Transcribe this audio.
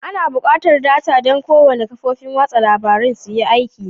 Ana buƙatar data don kowane kafofin watsa labarun suyi aiki.